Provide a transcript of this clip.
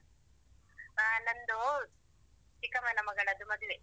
ಆ ನಂದು ಚಿಕ್ಕಮ್ಮನ ಮಗಳದ್ದು ಮದುವೆ.